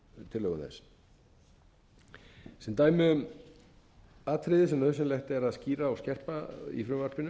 tillögum þess sem dæmi um atriði sem nauðsynlegt er að skýra og skerpa í frumvarpinu